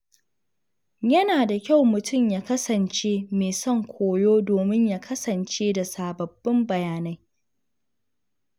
Yana da kyau mutum ya kasance mai son koyo domin ya kasance da sababbin bayanai.